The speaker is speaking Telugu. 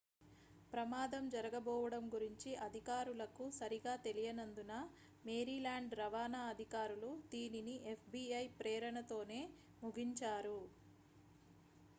ప్రమాదం జరగబోవడం గురించి అధికారులకు సరిగా తెలియనందున maryland రవాణా అధికారులు దీనిని fbi ప్రేరణతోనే ముగించారు